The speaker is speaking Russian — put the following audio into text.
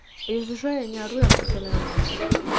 если что я не ору я просто на эмоциях